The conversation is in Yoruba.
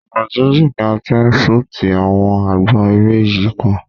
Ọ̀nà jíjìn ni a ti ṣútì àwọn àgbọn eré yìí kan.